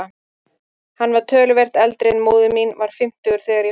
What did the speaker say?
Hann var töluvert eldri en móðir mín, var fimmtugur þegar ég fæddist.